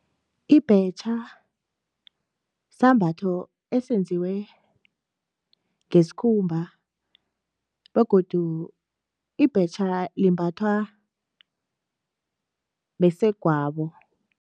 Ibhetjha sisambatho esenziwe ngesikhumba begodu ibhetja limbathwa basegwabo.